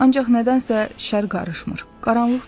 Ancaq nədənsə şər qarışmır, qaranlıq düşmür.